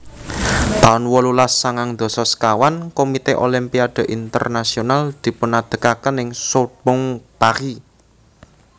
taun wolulas sangang dasa sekawan Komite Olimpiade Internasional dipunadegaken ing Sorbonne Paris